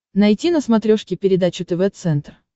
найти на смотрешке передачу тв центр